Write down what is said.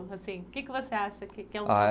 assim O que que você acha? que